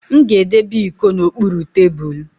M ga-edebe iko n'okpuru tebulu